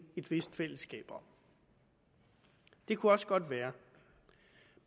et vist fællesskab om det kunne også godt være